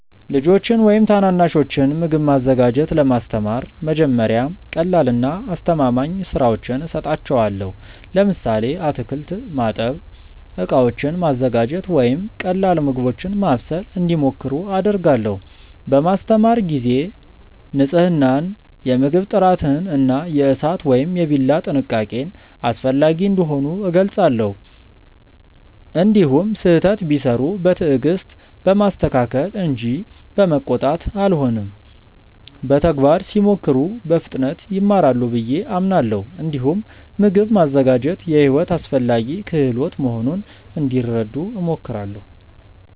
ልጆችን ወይም ታናናሾችን ምግብ ማዘጋጀት ለማስተማር መጀመሪያ ቀላልና አስተማማኝ ሥራዎችን እሰጣቸዋለሁ። ለምሳሌ አትክልት ማጠብ፣ ዕቃዎችን ማዘጋጀት ወይም ቀላል ምግቦችን ማብሰል እንዲሞክሩ አደርጋለሁ። በማስተማር ጊዜ ንፅህናን፣ የምግብ ጥራትን እና የእሳት ወይም የቢላ ጥንቃቄን አስፈላጊ እንደሆኑ እገልጻለሁ። እንዲሁም ስህተት ቢሠሩ በትዕግስት በማስተካከል እንጂ በመቆጣት አልሆንም። በተግባር ሲሞክሩ በፍጥነት ይማራሉ ብዬ አምናለሁ። እንዲሁም ምግብ ማዘጋጀት የሕይወት አስፈላጊ ክህሎት መሆኑን እንዲረዱ እሞክራለሁ።